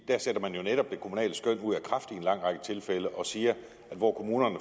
der sætter man jo netop det kommunale skøn ud af kraft i en lang række tilfælde og siger at hvor kommunerne